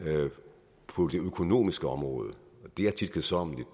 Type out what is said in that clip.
på det økonomiske område og det er tit kedsommeligt